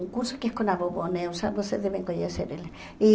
Um curso que é com a vovó Neusa, vocês devem conhecer ela. E